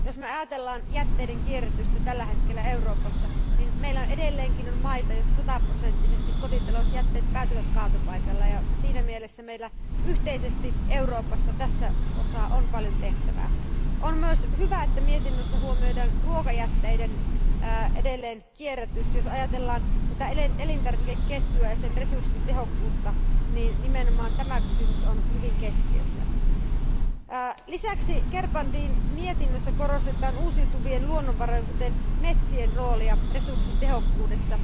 Jos me ajattelemme jätteiden kierrätystä tällä hetkellä Euroopassa, niin meillä edelleenkin on maita, joissa kotitalousjätteet päätyvät sataprosenttisesti kaatopaikalle, ja siinä mielessä meillä on yhteisesti Euroopassa tässä asiassa paljon tehtävää. On myös hyvä, että mietinnössä huomioidaan ruokajätteiden edelleenkierrätys. Jos ajatellaan elintarvikeketjua ja sen resurssitehokkuutta, nimenomaan tämä kysymys on hyvin keskeinen. Lisäksi Gerbrandyn mietinnössä korostetaan uusiutuvien luonnonvarojen, kuten metsien, roolia resurssitehokkuudessa.